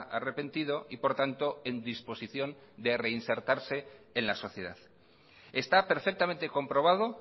arrepentido y por tanto en disposición de reinsertarse en la sociedad está perfectamente comprobado